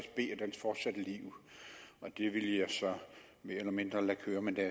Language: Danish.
dens fortsatte liv det ville jeg så mere eller mindre lade køre men